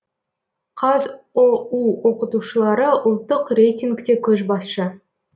қазұу оқытушылары ұлттық рейтингте көшбасшы